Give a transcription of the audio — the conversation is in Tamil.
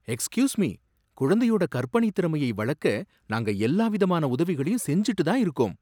Excuse me? குழந்தையோட கற்பனைத் திறமையை வளக்க நாங்க எல்லா விதமான உதவிகளையும் செஞ்சுக்கிட்டுதான் இருக்கோம்.